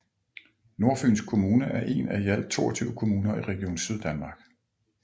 Nordfyns Kommune er en af i alt 22 kommuner i Region Syddanmark